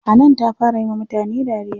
Hanan ta fara yiwa mutane dariya.